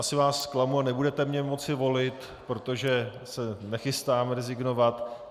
Asi vás zklamu a nebudete mě moci volit, protože se nechystám rezignovat.